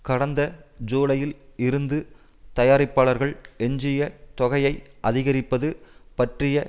கடந்த ஜூலையில் இருந்து தயாரிப்பாளர்கள் எஞ்சிய தொகையை அதிகரிப்பது பற்றிய